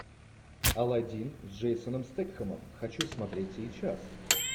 алладин с джейсоном стетхемом хочу смотреть сейчас